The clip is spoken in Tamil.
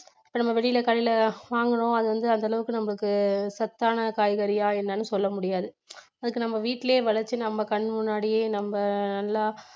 இப்ப நம்ம வெளியில கடையில வாங்கறோம் அது வந்து அந்தளவுக்கு நமக்கு சத்தான காய்கறியா என்னென்னு சொல்லமுடியாது அதுக்கு நம்ம வீட்டிலேயே விளைச்சு நம்ம கண் முன்னாடியே நம்ம நல்லா